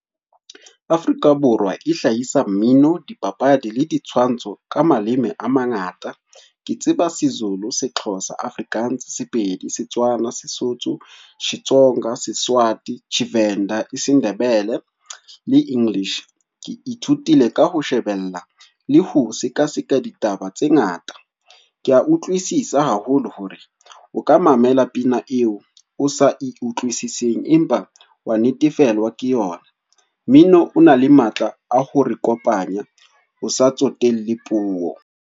Afrika Borwa e hlahisa mmino, dipapadi le ditshwantsho ka maleme a mangata. Ke tseba seZulu, seXhosa, Afrikaans, Sepedi, Setswana, Sesotho, Setsonga Seswati, tshiVenda, Sendebele le English. Ke ithutile ka ho shebella, le ho sekaseka ditaba tse ngata. Ke a utlwisisa haholo hore o ka mamela pina eo o sa e utlwisising, empa wa natefelwa ke yona. Mmino ona le matla a ho re kopanya, o sa tsotelle puo.